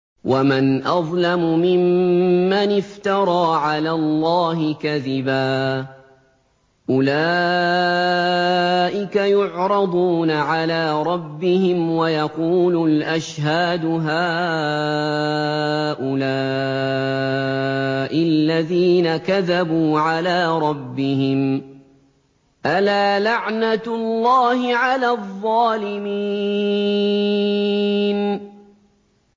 وَمَنْ أَظْلَمُ مِمَّنِ افْتَرَىٰ عَلَى اللَّهِ كَذِبًا ۚ أُولَٰئِكَ يُعْرَضُونَ عَلَىٰ رَبِّهِمْ وَيَقُولُ الْأَشْهَادُ هَٰؤُلَاءِ الَّذِينَ كَذَبُوا عَلَىٰ رَبِّهِمْ ۚ أَلَا لَعْنَةُ اللَّهِ عَلَى الظَّالِمِينَ